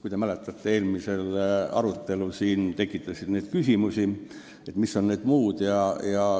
Kui te mäletate, siis eelmisel arutelul tekitas siin küsimusi see, mis on need "muud".